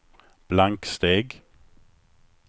blanksteg